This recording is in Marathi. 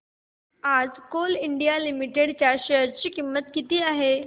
आज कोल इंडिया लिमिटेड च्या शेअर ची किंमत किती आहे